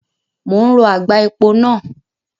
Mo ń rọ àgbá epo náà.